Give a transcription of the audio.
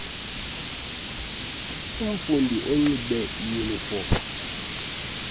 umfundi anxibe iyunifom